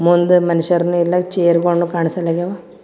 ಮುಂದ ಮನಷ್ಯರನು ಇಲ್ಲಾ ಚೇರ್ ಗೊಳನು ಕಾಣ್ಸಲಾಗ್ಯಾವ್.